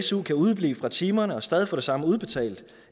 su kan udeblive fra timerne og stadig få det samme udbetalt